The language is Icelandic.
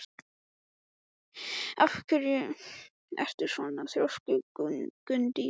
Af hverju ertu svona þrjóskur, Gunndís?